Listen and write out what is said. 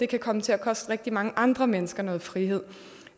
kan komme til at koste rigtig mange andre mennesker noget frihed